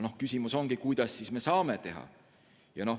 Aga küsimus ongi, kuidas me siis saame teha.